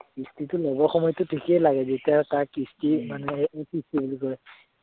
কিস্তিটো লব সময়তটো ঠিকে লাগে যেতিয়া তাৰ কিস্তি মানে এইটো কি বুলি কয়